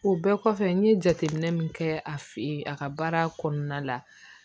O bɛɛ kɔfɛ n ye jateminɛ min kɛ a fɛ yen a ka baara kɔnɔna la